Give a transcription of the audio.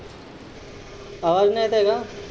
आवाज नाही येत आहे का?